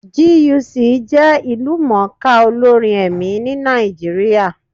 GUC jẹ́ ìlú mọ̀ọ́ ká olórin ẹ̀mí ní Nàìjíríà.